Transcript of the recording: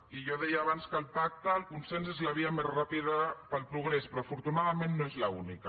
i jo deia abans que el pacte el consens és la via més ràpida per al progrés però afortunadament no és l’única